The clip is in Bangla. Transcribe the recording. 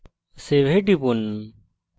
save এ টিপুন